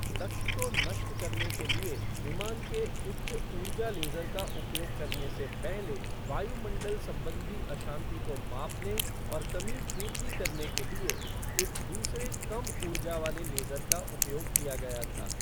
लक्ष्य को नष्ट करने के लिए विमान के उच्च ऊर्जा लेज़र का उपयोग करने से पहले वायुमंडल संबंधी अशांति को मापने और कमी पूर्ति करने के लिए एक दूसरे कम ऊर्जा वाले लेज़र का उपयोग किया गया था।